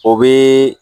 O bɛ